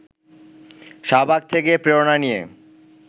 শাহবাগ থেকে প্রেরণা নিয়ে